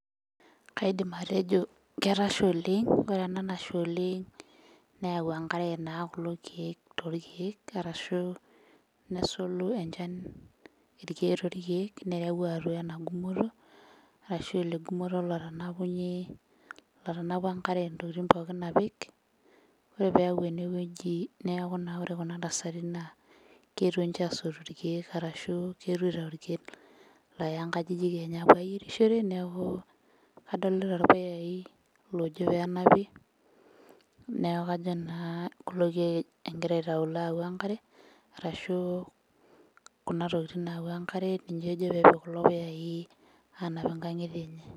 Kaidim atejo ketasha oleng' ore ena nasha oleng' neyau enkare naa kulo kiek torkeek arashu nesulu enchan torkiek nereu atua ena gumoto arashu ele gumoto lotanapunyie, lotanapua enkare intokitin pookin apik ore peyau enewueji neaku naa ore kuna tasati naa keetuo ninche asotu irkeek arashu keetuo aitau irkeek looya nkajijik enye apuo ayierishore neaku kadolita irpuyai loojo penapi neku kajo naa kulo kiek engira aitau loyawua enkare arashu kuna tokiting' nayawua enkare ninye ejo peepik kulo puyai anap inkang'itie enye.